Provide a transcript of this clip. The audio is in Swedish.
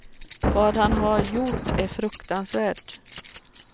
Vad han har gjort är fruktansvärt.